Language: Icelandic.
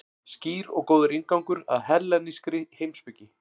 Skýr og góður inngangur að hellenískri heimspeki.